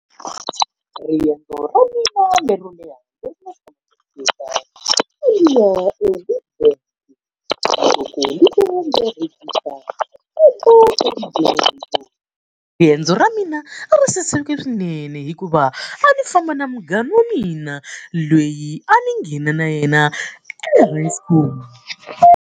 Riendzo ra mina lero leha a ndzi ya eWitbank . Riendzo ra mina a ri saseke swinene hikuva a ndzi famba na munghana wa mina loyi a ni nghena na yena .